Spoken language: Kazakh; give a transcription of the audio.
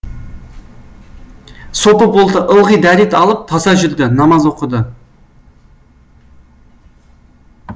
сопы болды ылғи дәрет алып таза жүрді намаз оқыды